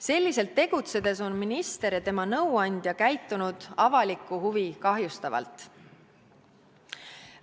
Selliselt tegutsedes on minister ja tema nõuandja käitunud avalikku huvi kahjustavalt.